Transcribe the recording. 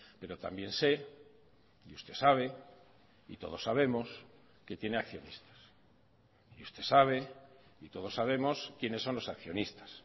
pero también sé y usted sabe y todos sabemos que tiene accionistas y usted sabe y todos sabemos quiénes son los accionistas